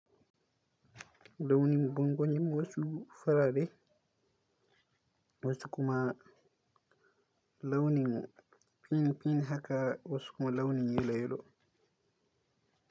Launin gwangoni wasu farare, wasu kuma launi pink pink haka wasu kuma launi yelo yelo.